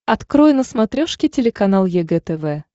открой на смотрешке телеканал егэ тв